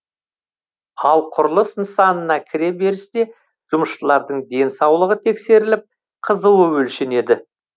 ал құрылыс нысанына кіре берісте жұмысшылардың денсаулығы тексеріліп қызуы өлшенеді